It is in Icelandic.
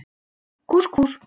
Kús Kús.